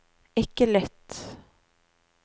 ikke lytt